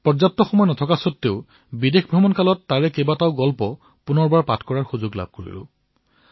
অধিক সময় নাপালেও প্ৰবাসলৈ যোৱাৰ সময়ত তাৰে কিছুমান কাহিনী মই পুনৰ পঢ়াৰ সুযোগ পালো